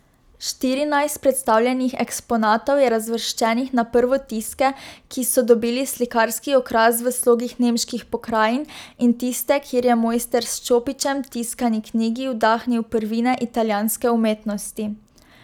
Štirinajst predstavljenih eksponatov je razvrščenih na prvotiske, ki so dobili slikarski okras v slogih nemških pokrajin, in tiste, kjer je mojster s čopičem tiskani knjigi vdahnil prvine italijanske umetnosti.